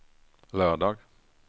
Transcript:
lördag